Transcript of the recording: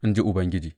in ji Ubangiji.